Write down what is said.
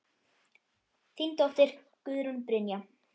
Þín dóttir, Guðrún Brynja.